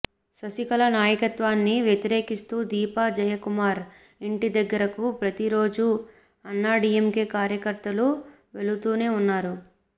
శశికళ నాయకత్వాన్ని వ్యతిరేకిస్తూ దీపా జయకుమార్ ఇంటి దగ్గరకు ప్రతి రోజూ అన్నాడీఎంకే కార్యకర్తలు వెలుతూనే ఉన్నారు